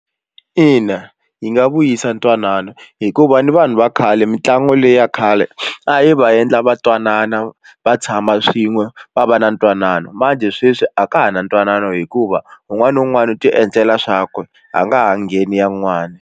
Ina yi nga vuyisa ntwanano hikuva ni vanhu va khale mitlangu leyi ya khale a yi va endla va twanana va tshama swin'we va va na ntwanano sweswi a ka ha na ntwanano hikuva un'wana na un'wana u ti endlela swakwe a nga ha ngheni ya un'wani.